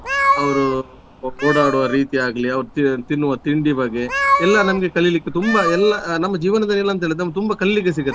ಅವರು ಓಡಾಡುವ ರೀತಿ ಆಗ್ಲಿ ಅವರು ತಿ~ ತಿನ್ನುವ ತಿಂಡಿ ಬಗ್ಗೆ ಎಲ್ಲ ನಮ್ಗೆ ಕಲಿಲಿಕ್ಕೆ ತುಂಬ ಎಲ್ಲ ನಮ್ಮ ಜೀವನದಲ್ಲಿ ಏನಂತ ಹೇಳಿದ್ರೆ ನಮ್ಗೆ ತುಂಬ ಕಲಿಲಿಕ್ಕೆ ಸಿಗತ್ತೆ.